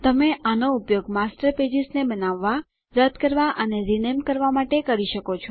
તમે આનો ઉપયોગ માસ્ટર પેજેસ ને બનાવવાં રદ્દ કરવાં અને રીનેમ કરવાં માટે કરી શકો છો